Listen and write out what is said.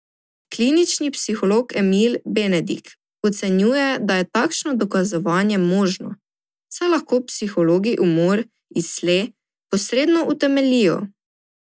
Klinični psiholog Emil Benedik ocenjuje, da je takšno dokazovanje možno, saj lahko psihologi umor iz sle posredno utemeljijo.